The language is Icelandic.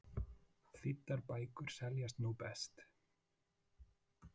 Þýddar bækur seljast nú best